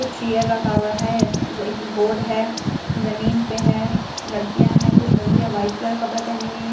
कुछ चेयर रखा हुआ है अ स एक बोर्ड है जमीन पे है लड़कियां है कुछ लड़किया ब्‍हाईट कलर के कपड़े पहने हुए हैं कुछ --